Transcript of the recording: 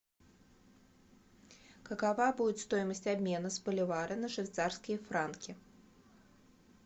какова будет стоимость обмена с боливара на швейцарские франки